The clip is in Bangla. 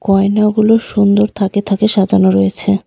গয়নাগুলো সুন্দর থাকে থাকে সাজানো রয়েছে.